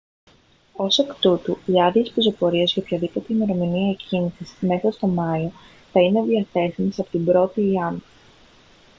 ως εκ τούτου οι άδειες πεζοπορίας για οποιαδήποτε ημερομηνία εκκίνησης μέσα στο μάιο θα είναι διαθέσιμες από την 1η ιαν